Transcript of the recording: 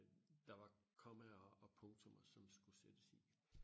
der var kommaer og punktummer som skulle sættes i